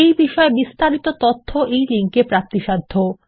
এই বিষয় বিস্তারিত তথ্য এই লিঙ্ক এ প্রাপ্তিসাধ্য